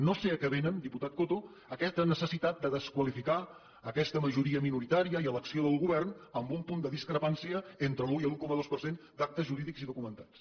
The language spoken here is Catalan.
no sé a què ve diputat coto aquesta necessitat de desqualificar aquesta majoria minoritària i l’acció del govern amb un punt de discrepància entre l’un i l’un coma dos per cent d’actes jurídics i documentats